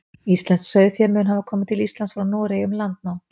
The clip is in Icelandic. íslenskt sauðfé mun hafa komið til íslands frá noregi um landnám